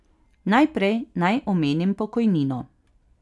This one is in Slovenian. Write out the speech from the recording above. Najprej naj omenim pokojnino.